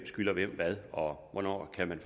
skylder hvem hvad og hvornår man kan